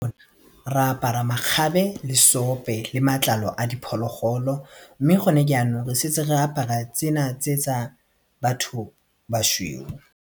Re apara makgabe le seope le matlalo a diphologolo mme gone jaanong re setse re apara tsena tse tsa batho bašweu.